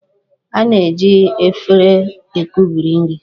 A na-eji éféré ekubiri nri